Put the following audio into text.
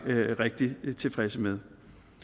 rigtig tilfredse med